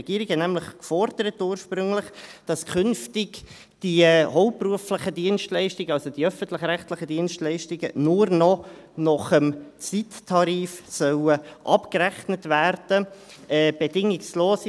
Die Regierung forderte nämlich ursprünglich, dass die hauptberuflichen – also die öffentlich-rechtlichen – Dienstleistungen künftig nur noch nach dem Zeittarif abgerechnet werden sollen.